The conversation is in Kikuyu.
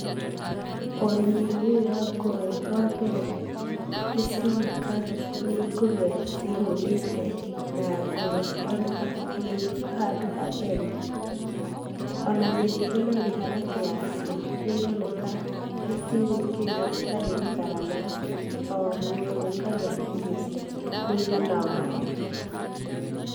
Ũrĩmi-inĩ ũyũ wa ngũrũwe wa mbere, nĩcironeka nĩ ngũrũwe cihũnĩte na ngũrũwe cironekana ciĩ handũ hatheru. Ona mĩrĩre na mĩharatĩ yacio, nĩĩroneka nĩcigũĩkĩrĩrwo citarĩ gũtharana nakĩ o nyamũ ĩkarĩa irio mũigana wayo.